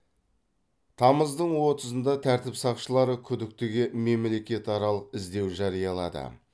тамыздың отызында тәртіп сақшылары күдіктіге мемлекетаралық іздеу жариялады